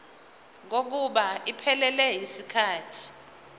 kokuba iphelele yisikhathi